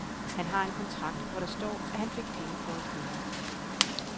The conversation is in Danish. Han har en kontrakt, hvor der står, at han fik penge for at køre.